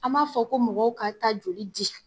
An ma fɔ ko mɔgɔw ka taa joli di